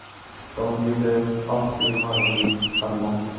Gangi þér allt í haginn, Emma.